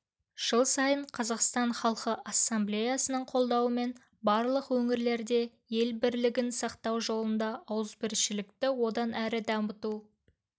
жыл сайын қазақстан халқы ассамблеясының қолдауымен барлық өңірлерде ел бірлігін сақтау жолында ауызбіршілікті одан әрі дамыту